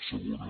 segona